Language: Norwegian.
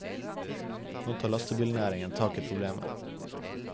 Nå tar lastebilnæringen tak i problemet.